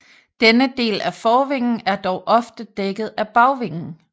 Denne del af forvingen er dog ofte dækket af bagvingen